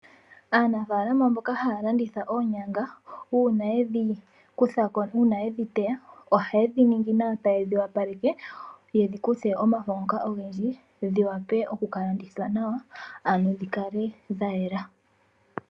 Aanafalama mboka haya landitha oonyanga uuna yedhi kuthako nenge uuna yedhi teya ohayedhi ningi nawa tayedhi wapaleke yedhi kuthe omafo ngoka ogendji dhiwape okuka landithwa nawa ano dhikale dhayela.